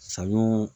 Saɲɔ